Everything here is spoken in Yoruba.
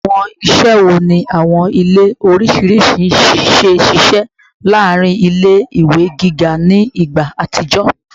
Awọn iṣẹ wo ni awọn ile oriṣiriṣi ṣe ṣiṣẹ laarin ile-iwe giga ni igba atijọ?